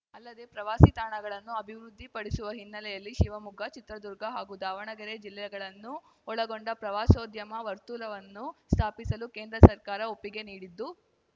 ಅಲ್ಲದೆ ಪ್ರವಾಸಿ ತಾಣಗಳನ್ನು ಅಭಿವೃದ್ಧಿ ಪಡಿಸುವ ಹಿನ್ನೆಲೆಯಲ್ಲಿ ಶಿವಮೊಗ್ಗ ಚಿತ್ರದುರ್ಗ ಹಾಗು ದಾವಣಗೆರೆ ಜಿಲ್ಲೆಗಳನ್ನು ಒಳಗೊಂಡ ಪ್ರವಾಸೋದ್ಯಮ ವರ್ತುಲವನ್ನು ಸ್ಥಾಪಿಸಲು ಕೇಂದ್ರ ಸರ್ಕಾರ ಒಪ್ಪಿಗೆ ನೀಡಿದ್ದು